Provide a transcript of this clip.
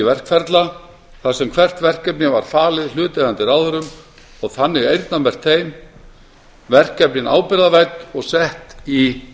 verkferla þar sem hvert verkefni var falið hlutaðeigandi ráðherrum og þannig eyrnamerkt þeim verkefnin ábyrgðarvædd og sett í